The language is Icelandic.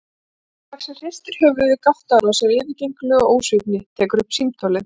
Stórlaxinn hristir höfuðið, gáttaður á þessari yfirgengilegu ósvífni, tekur upp símtólið.